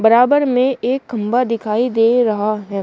बराबर में एक खंभा दिखाई दे रहा है।